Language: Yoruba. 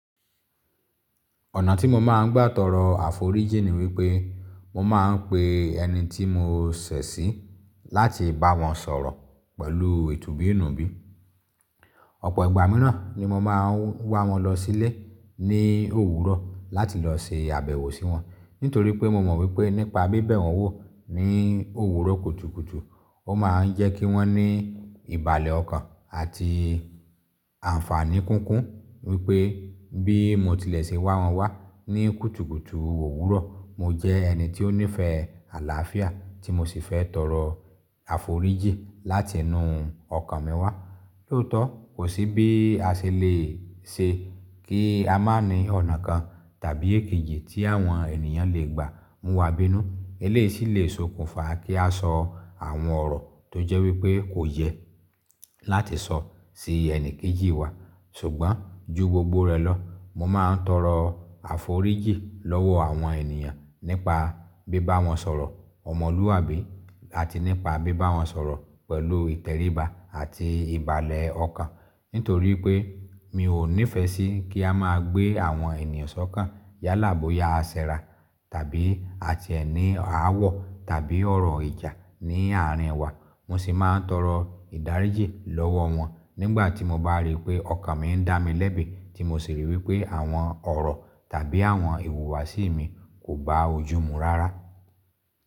Ọ̀nà tí mo máa ń gbà tọrọ àforíjì ni wípé mo máa ń pe ẹni tí mo ṣẹ̀ sí láti bá wọn sọ̀rọ̀ pẹ̀lú itubiinubi Ọ̀pọ̀ ìgbà miran ni mo máa ń wá wọn lọ sílé ní òwúrọ̀ láti lọ se àbẹ̀wò sí wọn nítorí pé mo mọ̀ wípé nípa bíbẹ̀ wọn wò ní òwúrọ̀ kùtùkùtù, ó máa ń jẹ́ kí wọ́n ní ìbàlẹ̀ ọkàn àti àaǹfàní kúnkún wípé bí mo tilẹ̀ ṣe wá wọn wá ní kùtùkùtù òwúrọ̀, mo jẹ́ ẹni tí ó nífẹ̀ẹ́ àlàáfíà tí mo sì fẹ́ tọrọ àforíjì láti inuú ọkàn mi wá. Loótọ̀, kò sí bí a ṣe lè ṣe kí a má ní ọ̀nà kan tàbí èkejì tí àwọn ènìyàn lè gbà mú wa bínú. Eléyìí sì lè sokùnfà kí a sọ àwọn ọ̀rọ̀ tó jẹ́ wípé kò yẹ láti sọ sí ẹni kejì wa. Ṣùgbọ́n ju gbogbo rẹ̀ lọ, mo máa ń tọrọ àforíjì lọ́wọ́ àwọn ènìyàn nípa bíbá wọn sọ̀rọ̀ ọmọlúwàbí àti nípa bíbá wọn sọ̀rọ̀ pẹ̀lú ìtẹríba àti ìbàlẹ̀ ọkàn. Nítorípé mi ò nífẹ̀ẹ́ sí kí a má gbé àwọn ènìyàn sókàn yálà boya a sẹ́ra tàbíi à ti e ni aáwọ̀ tàbí ọ̀rọ̀ ìjà ní àárín wa. Mo sì máa ń tọrọ ìdáríjì lọ́wọ́ wọn nígbà tí mo bá rí pé ọkàn mi ń dá mi lẹ́bi tí mo sì rí wípé àwọn ọ̀rọ̀ tàbí àwọn ìwùwàsí mi kò gbá ojú mu rárá.